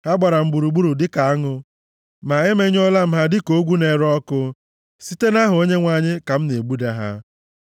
Ha gbara m gburugburu dịka aṅụ, ma e menyụọla ha dịka ogwu na-ere ọkụ; site nʼaha Onyenwe anyị, ka m na-egbuda ha.